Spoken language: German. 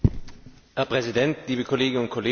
Herr Präsident, liebe Kolleginnen und Kollegen!